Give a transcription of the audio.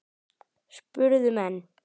spurðu menn.